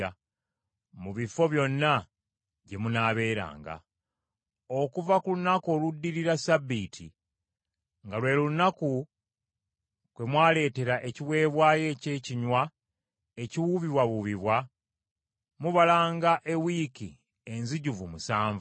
“Okuva ku lunaku oluddirira Ssabbiiti, nga lwe lunaku kwe mwaleetera ekiweebwayo eky’ekinywa ekiwuubibwawuubibwa mubalanga ewiiki enzijuvu musanvu.